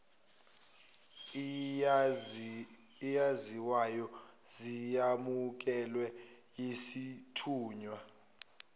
eyaziwayo seyamukelwe yisithunywa